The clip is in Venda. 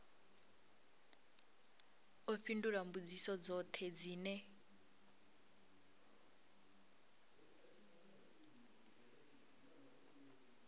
ḓo fhindula mbudziso dzoṱhe dzine